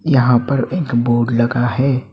यहां पर एक बोर्ड लगा है।